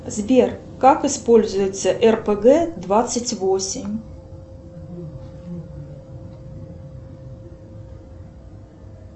сбер как используется рпг двадцать восемь